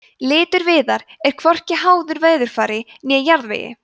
litur viðar er hvorki háður veðurfari né jarðvegi